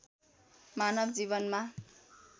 मानव जीवनमा